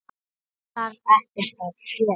Það þarf ekkert að gerast.